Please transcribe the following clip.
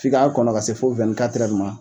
F'i k'a kɔnɔ ka se fo ma